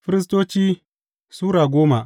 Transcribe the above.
Firistoci Sura goma